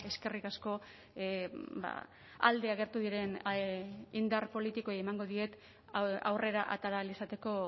eskerrik asko alde agertu diren indar politikoei emango diet aurrera atera ahal izateko